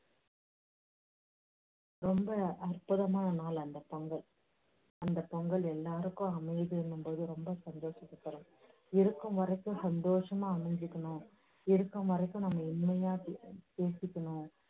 ரொம்ப அற்புதமான நாள் அந்த பொங்கல். அந்த பொங்கல் எல்லாருக்கும் அமைதி ரொம்ப சந்தோஷத்தை தரும். இருக்கும் வரைக்கும் சந்தோஷமா அமைஞ்சுக்கணும், இருக்கும் வரைக்கும் நம்ம உண்மையா பே~ பேசிக்கணும்.